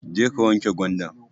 Jeka wanke gwandan